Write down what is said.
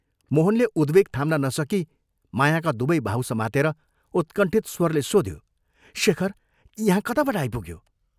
मोहनले उद्वेग थाम्न नसकी मायाका दुवै बाहु समातेर उत्कण्ठित स्वरले सोध्यो, " शेखर, यहाँ कताबाट आइपुग्यो?